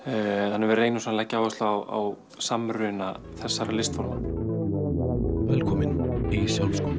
þannig að við reynum svolítið að leggja áherslu á samruna þessara velkomin í sjálfsskoðun